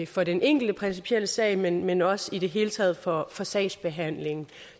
for den enkelte principielle sag men men også i det hele taget for for sagsbehandlingen